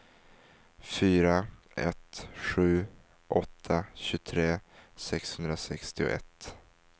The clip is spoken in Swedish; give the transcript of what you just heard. fyra ett sju åtta tjugotre sexhundrasextioett